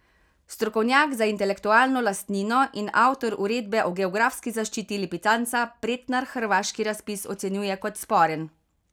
Strokovnjak za intelektualno lastnino in avtor uredbe o geografski zaščiti lipicanca Pretnar hrvaški razpis ocenjuje kot sporen.